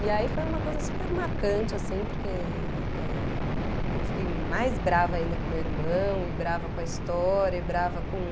E aí foi uma coisa super marcante, assim, porque, eh, eu fiquei mais brava ainda com meu irmão, e brava com a história, e brava com